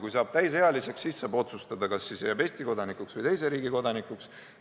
Kui saab täisealiseks, siis saab otsustada, kas jääb Eesti kodanikuks või teise riigi kodanikuks.